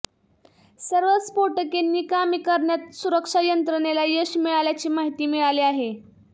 सर्व स्फोटके निकामी करण्यात सुरक्षा यंत्रणेला यश मिळाल्याची माहिती मिळाली आहे